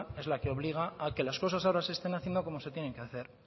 es la que obliga a que las cosas ahora se estén haciendo como se tienen que hacer